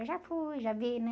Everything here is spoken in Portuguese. Eu já fui, já vi, né?